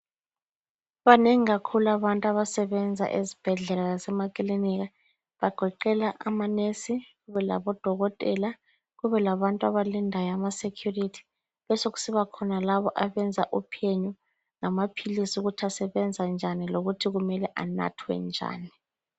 Banengi kakhulu abantu abasebenza ezibhedlela lasemakilinika bagoqela amanesi labodokotela. Kubelabantu abalindayo amasecurity besekusiba khona labo abenza uphenyo ngamaphilisi ukuthi asebenza njani lokuthi kumele anathwe njani.